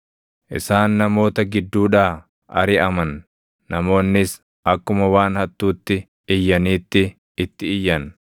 Isaan namoota gidduudhaa ariʼaman; namoonnis akkuma waan hattuutti iyyaniitti itti iyyan.